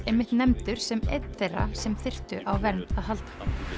einmitt nefndur sem einn þeirra sem þyrftu á vernd að halda